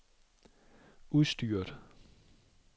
udstyret